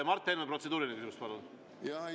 Mart Helme, protseduuriline küsimus, palun!